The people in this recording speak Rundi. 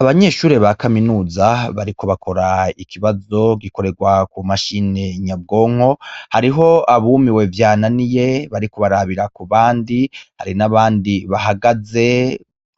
Abanyeshure ba kaminuza bariko bakora ikibazo gikorerwa kumashini nyabwonko hariho abumiwe vyananiye bariko barabira kubandi hari n'abandi bahagaze